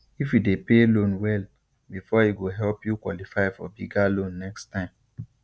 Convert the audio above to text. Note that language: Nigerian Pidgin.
if you dey pay loan well before e go help you qualify for bigger loan next time